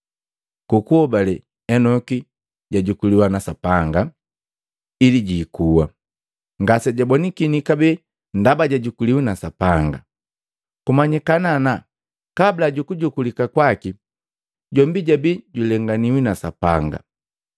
Ku kuhobale, Enoki jajukulika na Sapanga, ili jiikuwa. Ngasejabonakini kabee ndaba jajukuliki na Sapanga. Kumanyikana ana kabula ju kujukulika kwaki, jombi jabii julenganiwi na Sapanga.